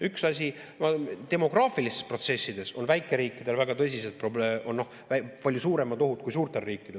Üks asi, demograafilistes protsessides on väikeriikidel väga tõsiseid probleeme, palju suuremad ohud kui suurtel riikidel.